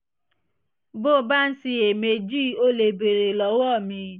bó o bá ń ṣiyèméjì o lè béèrè lọ́wọ́ mi